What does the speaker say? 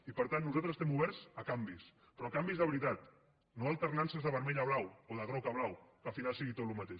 i per tant nosaltres estem oberts a canvis però a canvis de veritat no a alternances de vermell a blau o de groc a blau que al final sigui tot el mateix